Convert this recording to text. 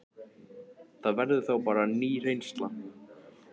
Það verður þá bara ný reynsla.